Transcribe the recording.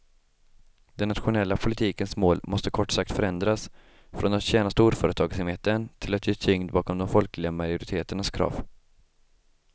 Den nationella politikens mål måste kort sagt förändras, från att tjäna storföretagsamheten till att ge tyngd bakom de folkliga majoriteternas krav.